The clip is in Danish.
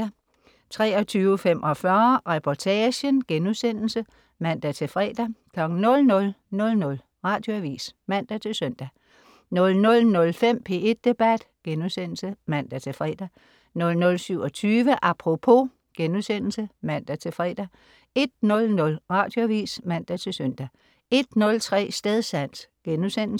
23.45 Reportagen* (man-fre) 00.00 Radioavis (man-søn) 00.05 P1 Debat* (man-fre) 00.27 Apropos* (man-fre) 01.00 Radioavis (man-søn) 01.03 Stedsans*